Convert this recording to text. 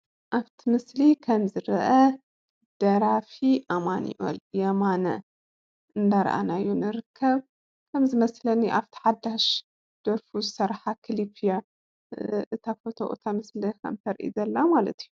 ኣፍቲ ምስሊ ከም ዝርአ ደራፊ ኣማንኤል የማነ እደራኣናዮ ንርከብ። ከም ዝመስለኒ ኣብ እታ ሓዳሽ ደርፉ ዝሰርሓ ክሊብ እያ እታ ፎቶ:: እታ ምስሊ ከም ተርእይ ዘላ ማለት እዩ።